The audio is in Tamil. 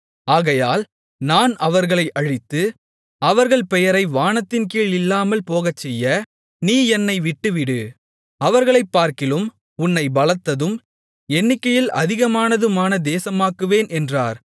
ஆகையால் நான் அவர்களை அழித்து அவர்கள் பெயரை வானத்தின் கீழ் இல்லாமல்போகச்செய்ய நீ என்னை விட்டுவிடு அவர்களைப்பார்க்கிலும் உன்னைப் பலத்ததும் எண்ணிக்கையில் அதிகமானதுமான தேசமாக்குவேன் என்றார்